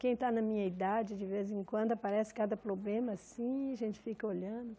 Quem está na minha idade, de vez em quando, aparece cada problema assim e a gente fica olhando.